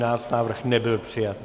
Návrh nebyl přijat.